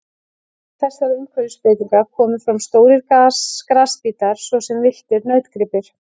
Í kjölfar þessara umhverfisbreytinga komu fram stórir grasbítar svo sem villtir nautgripir.